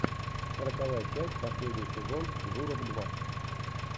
сороковая часть последний сезон журов два